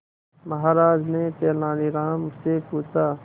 महाराज ने तेनालीराम से पूछा